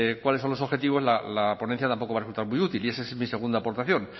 cuáles son los objetivos la ponencia tampoco va a resultar muy útil y esa es mi segunda aportación